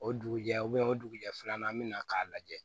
O dugujɛ o dugujɛ filanan an bɛna k'a lajɛ